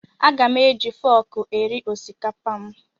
Aga m eji fọọkụ eri osikapa m.